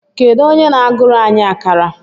Kedu onye na-agụrụ anyị akárà?